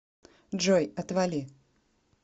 джой отвали